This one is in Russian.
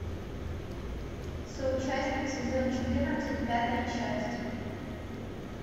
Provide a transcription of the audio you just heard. соучастник сезон четырнадцать пятая часть